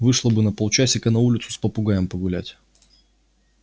вышла бы на полчасика на улицу с попугаем погулять